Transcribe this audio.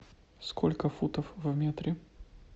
сколько футов в метре